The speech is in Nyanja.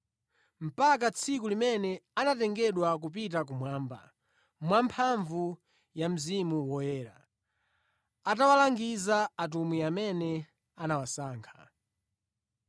mpaka tsiku limene anatengedwa kupita kumwamba, mwamphamvu ya Mzimu Woyera, atawalangiza atumwi amene anawasankha.